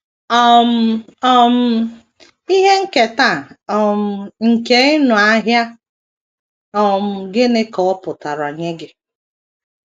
um um Ihe Nketa um nkeị nụ Ahịa um Gịnị Ka Ọ Pụtara Nye Gị?